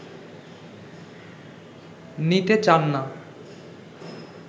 নিতে চান না